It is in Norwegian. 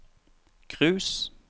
cruise